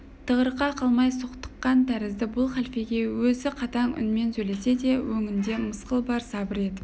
тығырыққа қамай соқтыққан тәрізді бұл халфеге өзі қатаң үнмен сөйлесе де өңінде мысқыл бар сабыр етіп